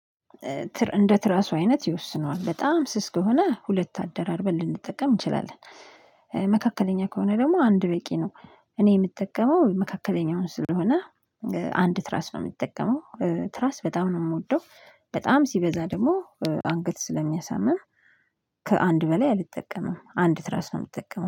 እንደ ትራሱ አይነት ይወስነዋል በጣም ስስ ከሆነ ሁለት አደራርበን ልንጠቀም እንችላለን። መካከለኛ ከሆነ ደግሞ አንድ በቂ ነው። እኔ የምጠቀመው መካከለኛውን ስለሆነ። አንድ ትራስ ነው የምጠቀመው ትራስ በጣም ነው የምወደው። በጣም ሲበዛ ደግሞ አንገት ስለሚያሳምም። ከአንድ በላይ አልጠቀምም አንድ ትራስ ነው የምጠቀመው